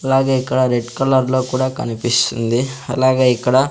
అలాగే ఇక్కడ రెడ్ కలర్లో కూడా కనిపిస్సుంది అలాగే ఇక్కడ--